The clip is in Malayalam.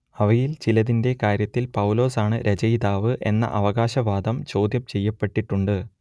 അവയിൽ ചിലതിന്റെ കാര്യത്തിൽ പൗലോസാണു രചയിതാവ് എന്ന അവകാശവാദം ചോദ്യംചെയ്യപ്പെട്ടിട്ടുണ്ട്